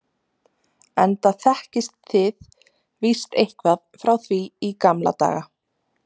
enda þekkist þið víst eitthvað frá því í gamla daga.